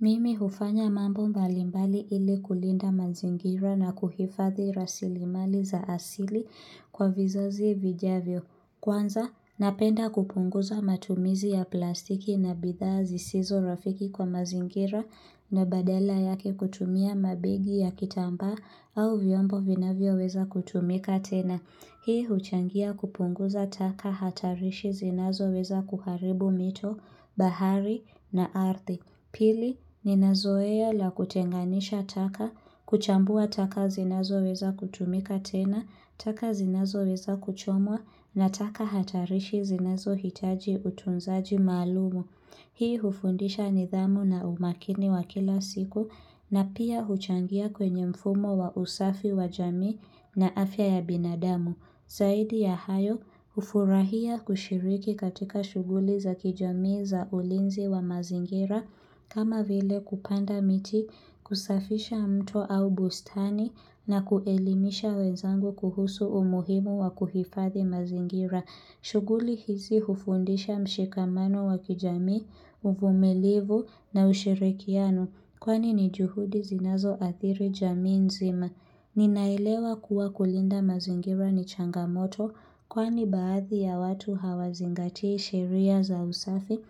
Mimi hufanya mambo mbali mbali ili kulinda mazingira na kuhifadhi rasilimali za asili kwa vizazi vijavyo. Kwanza, napenda kupunguza matumizi ya plastiki na bidhaa zisizo rafiki kwa mazingira. Na badala yake kutumia mabegi ya kitambaa au vyombo vinavyo weza kutumika tena. Hii huchangia kupunguza taka hatarishi zinazo weza kuharibu mito, bahari na ardhi. Pili, ninazoea la kutenganisha taka, kuchambua taka zinazo weza kutumika tena, taka zinazo weza kuchomwa, na taka hatarishi zinazo hitaji utunzaji maalum. Hii hufundisha nidhamu na umakini wa kila siku, na pia huchangia kwenye mfumo wa usafi wa jamii na afya ya binadamu. Zaidi ya hayo. Ufurahia kushiriki katika shughuli za kijamii za ulinzi wa mazingira, kama vile kupanda miti, kusafisha mto au bustani na kuelimisha wenzangu kuhusu umuhimu wa kuhifadhi mazingira. Shughuli hizi hufundisha mshikamano wa kijamii, uvumilivu na ushirikiano. Kwani ni juhudi zinazo athiri jamii nzima. Ninaelewa kuwa kulinda mazingira ni changamoto. Kwani baadhi ya watu hawazingatii shiria za usafi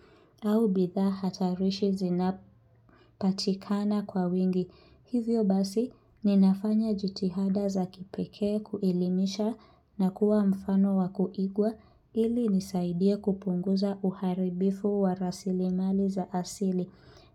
au bidhaa hatarishi zinapatikana kwa wingi. Hivyo basi, ninafanya jitihada za kipekee kuelimisha na kuwa mfano wa kuigwa ili nisaidie kupunguza uharibifu wa rasilimali za asili.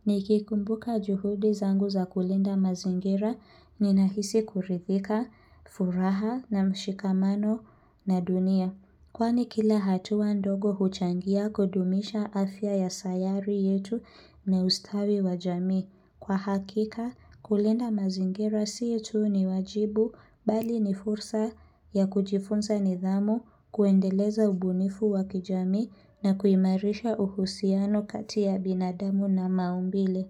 Nikikumbuka juhudi zangu za kulinda mazingira, ninahisi kuridhika, furaha na mshikamano na dunia. Kwani kila hatua ndogo huchangia kudumisha afya ya sayari yetu na ustawi wajamii. Kwa hakika kulinda mazingira sio tu ni wajibu, mbali ni fursa ya kujifunza nidhamu, kuendeleza ubunifu wakijamii na kuimarisha uhusiano kati ya binadamu na maumbile.